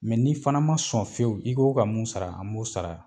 Mɛ n ni fana ma sɔn fiyewu n'i ko k'o ka mun sara an m'o sara